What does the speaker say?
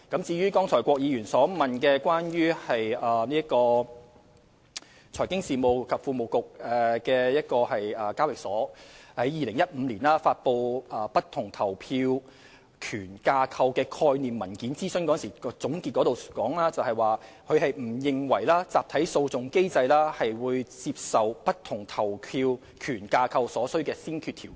至於郭議員剛才問及香港聯合交易所有限公司在2015年發布的不同投票權架構的概念文件，諮詢總結提到聯交所不認為集體訴訟機制是接受不同投票權架構所需的先決條件。